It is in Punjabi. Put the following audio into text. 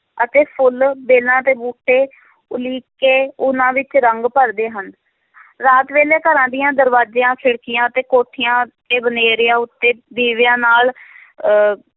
ਅਤੇ ਫੁੱਲ, ਵੇਲਾਂ ਤੇ ਬੂਟੇ ਉਲੀਕ ਕੇ, ਉਹਨਾਂ ਵਿੱਚ ਰੰਗ ਭਰਦੇ ਹਨ ਰਾਤ ਵੇਲੇ, ਘਰਾਂ ਦੀਆਂ ਦਰਵਾਜ਼ਿਆਂ, ਖਿੜਕੀਆਂ ਅਤੇ ਕੋਠਿਆਂ ਤੇ ਬਨੇਰਿਆਂ ਉੱਤੇ, ਦੀਵਿਆਂ ਨਾਲ ਅਹ